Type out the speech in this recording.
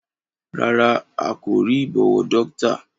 Rárá a kò rí ìbọwọ́dọ́ktà